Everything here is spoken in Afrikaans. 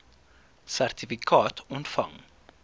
sertifikaat ontvang